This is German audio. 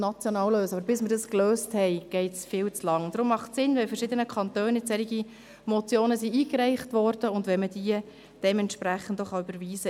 So viel ist die Selbstregulierung hier wert, einfach, damit Ihnen das klar ist.